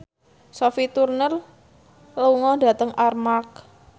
Sophie Turner lunga dhateng Armargh